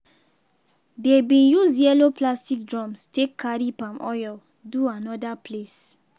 dey bin use yellow plastic drums take carry palm oil do anoda place.